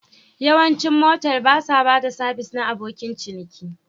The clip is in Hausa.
Yawancin motel ba sa ba da sabis na abokin ciniki